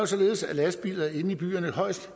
således at lastbiler inde i byerne højst